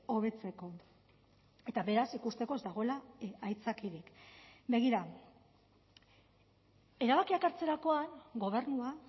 hobetzeko eta beraz ikusteko ez dagoela aitzakiarik begira erabakiak hartzerakoan gobernua